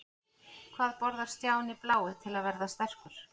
Hvað borðar Stjáni blái til að verða sterkur?